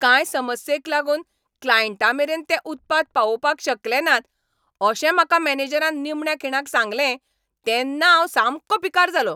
कांय समस्येक लागून क्लायंटामेरेन तें उत्पाद पावोवपाक शकले नात अशें म्हाका मॅनेजरान निमण्या खिणाक सांगलें तेन्ना हांव सामको पिकार जालों.